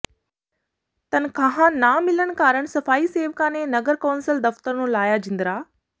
ਤਨਖ਼ਾਹਾਂ ਨਾ ਮਿਲਣ ਕਾਰਨ ਸਫ਼ਾਈ ਸੇਵਕਾ ਨੇ ਨਗਰ ਕੌ ਾਸਲ ਦਫ਼ਤਰ ਨੂੰ ਲਾਇਆ ਜਿੰਦਰਾ